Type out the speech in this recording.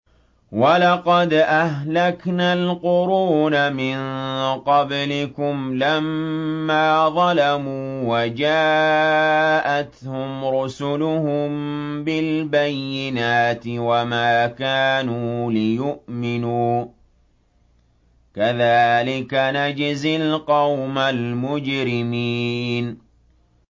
وَلَقَدْ أَهْلَكْنَا الْقُرُونَ مِن قَبْلِكُمْ لَمَّا ظَلَمُوا ۙ وَجَاءَتْهُمْ رُسُلُهُم بِالْبَيِّنَاتِ وَمَا كَانُوا لِيُؤْمِنُوا ۚ كَذَٰلِكَ نَجْزِي الْقَوْمَ الْمُجْرِمِينَ